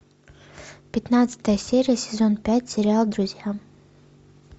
пятнадцатая серия сезон пять сериал друзья